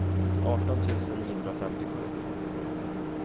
arton tusen niohundrafemtiosju